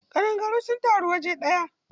Ƙadangaru sun taru waje ɗaya.